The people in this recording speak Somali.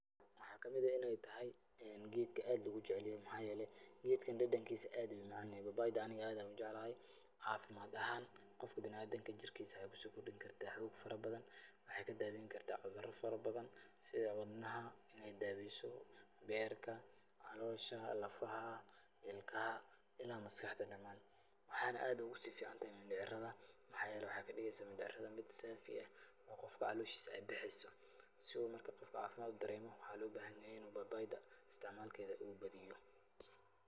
Maxaa ka mid ah in ay tahay geedka aad loogu jecayl yahay. Maxaa yeelay, geedkan dhadhankiisa aad ayuu u macaan yahay. Babayda aniga aad ayaa u jeclahay. Cafimaad ahaan qofka bina'aadinka jirkiisa waxay ku soo kordhin kartaa xoog farabadan, waxaay ka daaweyn kartaa cuduro farabadan sida; wadnaha in ay daaweyso, beerka, caloosha, lafaha, ilkaha ila maskaxda dhamaan. Waxaan aad ugu sii ficaantahay mindhicrada. Maxaa yeelay, waxaay ka dhigaysaa mindhicrada mid saafi eh oo qofka calooshiisa ay baxayso. Si uu marka qofka caafimad u dareemo, waxaa loo bahan yahay in uu babayda istacmaalkeeda uu badiyo.